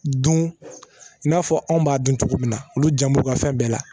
Dun i n'a fɔ anw b'a dun cogo min na olu jan b'u ka fɛn bɛɛ la